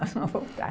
Nós vamos voltar.